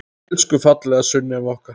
Elsku fallega Sunneva okkar.